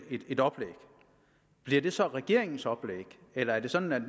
et oplæg bliver det så regeringens oplæg eller er det sådan